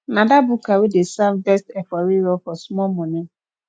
na dat buka wey dey serve best efo riro for small money